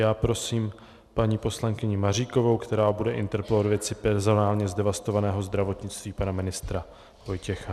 Já prosím paní poslankyni Maříkovou, která bude interpelovat ve věci personálně zdevastovaného zdravotnictví pana ministra Vojtěcha.